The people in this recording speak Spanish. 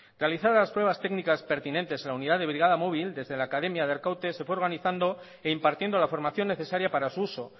realizadas las pruebas técnicas pertinentes en la unidad de brigada móvil desde la academia de arkaute se fue organizando e impartiendo la formación necesaria para su uso